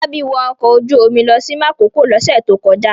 Fọlábí wọ ọkọ̀ ojú-omi lọ sí Makòko lọ́sẹ̀ tó kọjá?